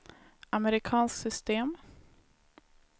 amerikanskt system